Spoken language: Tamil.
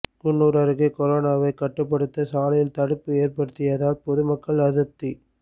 குன்னூர் அருகே கொரோனாவை கட்டுப்படுத்த சாலையில் தடுப்பு ஏற்படுத்தியதால் பொதுமக்கள் அதிருப்தி